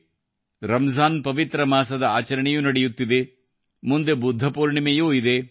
ಇದು ರಮ್ ಜಾನ್ ಪವಿತ್ರ ಮಾಸದ ಆಚರಣೆಯೂ ನಡೆಯುತ್ತಿದೆ ಮುಂದೆ ಬುದ್ಧ ಪೂರ್ಣಿಮೆಯೂ ಇದೆ